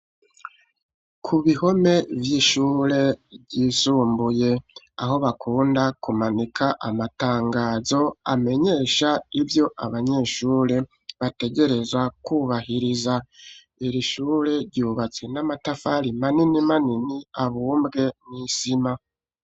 Ku bihome vyishure ryisumbuye aho bakunda kumanika amatangazo amenyesha ivyo abanyeshure bategerezwa kubahiriza iri shure ryubatse namatafari manini manini abunbge mwisima.